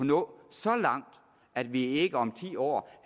nå så langt at vi ikke om ti år